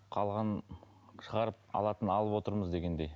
қалғанын шығарып алатынын алып отырмыз дегендей